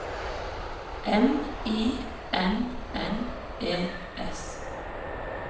M I N N E S